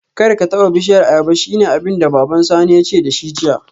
Karka taba bishiyar ayaba shine abinda baban Sani yace dashi jiya